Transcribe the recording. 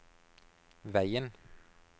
veien